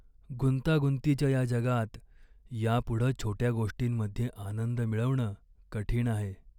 गुंतागुंतीच्या या जगात यापुढं छोट्या गोष्टींमध्ये आनंद मिळवणं कठीण आहे.